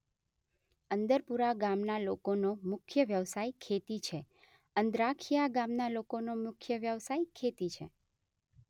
અંદરપુરા ગામના લોકોનો મુખ્ય વ્યવસાય ખેતી છે અંદ્રાખીયા ગામના લોકોનો મુખ્ય વ્યવસાય ખેતી છે